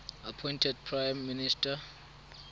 appointed prime minister